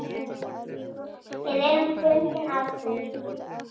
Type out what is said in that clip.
Við erum bundin af því.